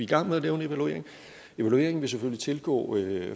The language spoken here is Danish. gang med at lave en evaluering og evalueringen vil selvfølgelig tilgå